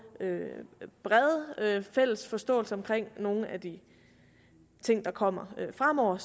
en bred fælles forståelse omkring nogle af de ting der kommer fremover